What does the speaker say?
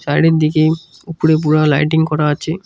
Side -এর দিকে উপরে পুরা লাইটিং করা আছে।